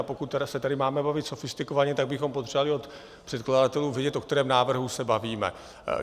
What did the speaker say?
A pokud se tady máme bavit sofistikovaně, tak bychom potřebovali od předkladatelů vědět, o kterém návrhu se bavíme.